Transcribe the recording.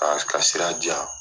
A ka sira diyan